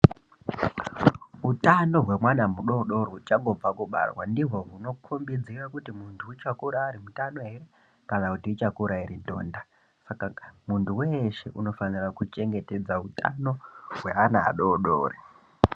Utano hwemana mudoodori uchangobve kubarwa ndihwo hunokombidzire kuti muntu uchakura ari mutano here kana kuti uchakura iri ndonda. Saka muntu weshe unofanira kuchengetedza utano hweana adoodorii.